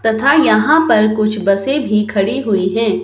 तथा यहां पर कुछ बसें भी खड़ी हुई हैं।